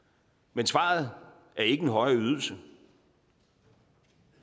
men svaret er ikke en højere ydelse